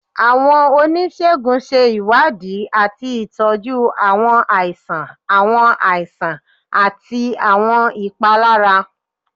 Awọn onisegun ṣe iwadii ati tọju awọn aisan, awọn aisan, ati awọn ipalara.